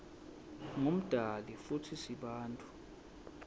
ngumdali futsi sibantfu